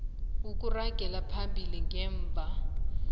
ukuragela phambili ngemva